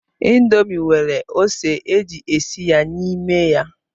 Indomi nwere ose eji esi ya n'ime ya.